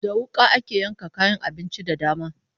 Da wuƙa ake yanka kayan abinci da dama.